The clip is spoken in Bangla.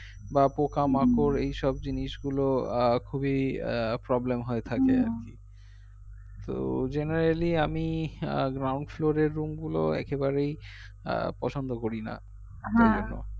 বা পোকামাকর এইসব জিনিসগুলো আহ খুবি আহ problem হয়ে থাকে আর কি তো generally আমি আহ ground floor এর room গুলো একেবারেই আহ পছন্দ করি না